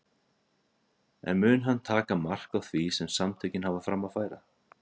En mun hann taka mark á því sem samtökin hafa fram að færa?